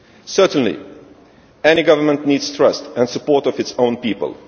Certainly any government needs the trust and support of its own people.